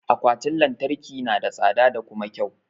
Akwatin lantarki na da tsada da kuma kyau.